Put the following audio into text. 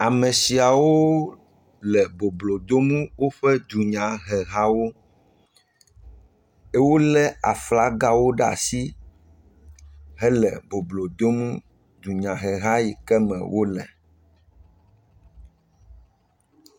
Ame shiawo le boblodom woƒe dunyahehawo. Wolé aflagawo ɖe asi hele boblo dom dunyaheha yi ke me wole.